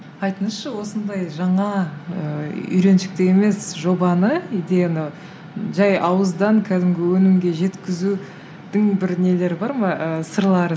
айтыңызшы осындай жаңа ыыы үйреншікті емес жобаны идеяны жай ауыздан кәдімгі өнімге жеткізудің бір нелері бар ма ы сырлары